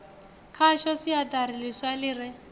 khayo siaṱari ḽiswa ḽi re